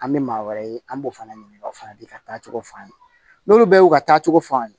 An bɛ maa wɛrɛ ye an b'o fana ɲininka o fana bɛ ka taa cogo f'an ye n'olu bɛ y'u ka taacogo f'an ye